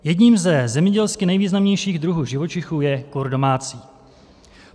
Jedním ze zemědělsky nejvýznamnějších druhů živočichů je kur domácí.